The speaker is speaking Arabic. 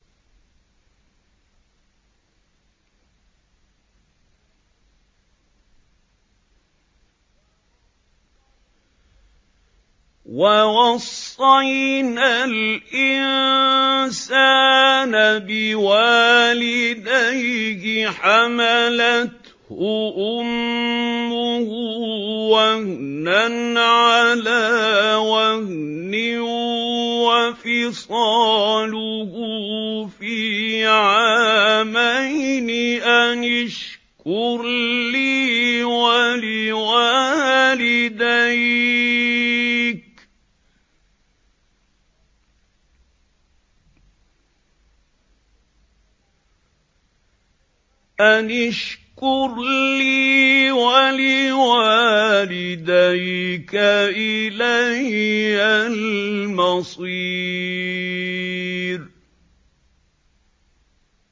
وَوَصَّيْنَا الْإِنسَانَ بِوَالِدَيْهِ حَمَلَتْهُ أُمُّهُ وَهْنًا عَلَىٰ وَهْنٍ وَفِصَالُهُ فِي عَامَيْنِ أَنِ اشْكُرْ لِي وَلِوَالِدَيْكَ إِلَيَّ الْمَصِيرُ